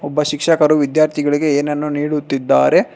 ಒಬ್ಬ ಶಿಕ್ಷಕರು ವಿದ್ಯಾರ್ಥಿಗಳಿಗೆ ಏನನ್ನು ನೀಡುತ್ತಿದ್ದಾರೆ.